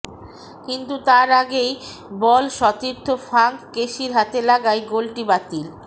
কিন্তু তার আগেই বল সতীর্থ ফ্রাঙ্ক কেসির হাতে লাগায় গোলটি বাতিল